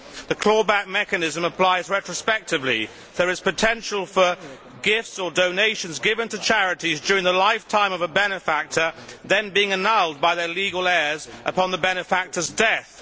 The clawback mechanism applies retrospectively. There is potential for gifts or donations given to charities during the lifetime of a benefactor then being annulled by their legal heirs upon the benefactor's death.